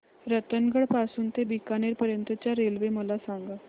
रतनगड पासून ते बीकानेर पर्यंत च्या रेल्वे मला सांगा